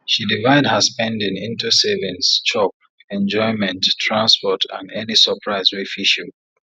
she divide her spending into savings chop enjoyment transport and any surprise wey fit show